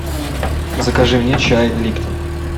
закажи мне чай липтон